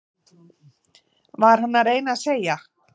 Var hann að reyna að segja